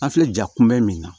An filɛ ja kunbɛ min na